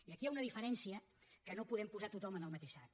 i aquí hi ha una diferència que no podem posar tothom en el mateix sac